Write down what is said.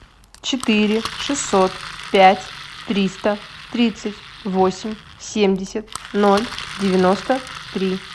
четыре шестьсот пять триста тридцать восемь семьдесят ноль девяносто три